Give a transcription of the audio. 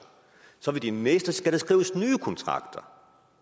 så ved de næste skal der skrives nye kontrakter